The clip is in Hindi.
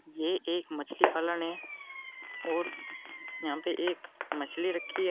ये एक मछली पालन है और यहां पे एक मछली रखी हैं।